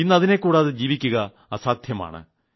ഇന്ന് അതിനെക്കൂടാതെ ജീവിക്കുക അസാധ്യമാണ്